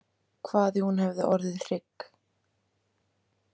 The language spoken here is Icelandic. Hvað ef hún hefði orðið hrygg?